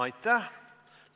Aitäh!